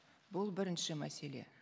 бұл бірінші мәселе